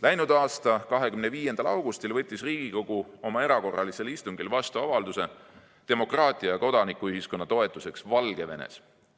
Läinud aasta 25. augustil võttis Riigikogu oma erakorralisel istungil vastu avalduse "Demokraatia ja kodanikuühiskonna toetuseks Valgevenes".